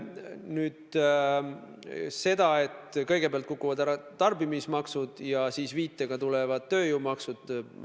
Nüüd sellest, et kõigepealt kukuvad ära tarbimismaksud ja siis tulevad viitega tööjõumaksud.